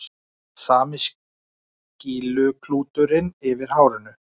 Sami skýluklúturinn yfir hárinu.